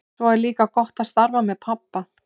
Svo er líka gott að starfa með pabba.